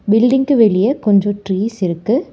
Building வெளிய கொஞ்சோ trees இருக்கு.